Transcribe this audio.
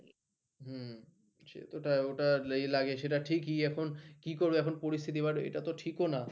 ওটা লাগে সেটা ঠিকই এখন কি করব এখন পরিস্থিতি but এটা তো ঠিক ও না